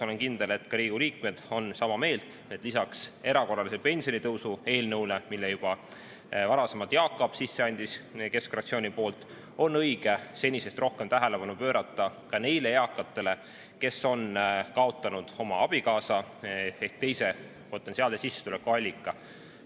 Olen kindel, et ka Riigikogu liikmed on sama meelt, et lisaks erakorralise pensionitõusu eelnõule, mille Jaak Aab juba varasemalt keskfraktsiooni poolt sisse andis, on õige senisest rohkem tähelepanu pöörata ka neile eakatele, kes on kaotanud oma abikaasa ehk teise potentsiaalse sissetulekuallika.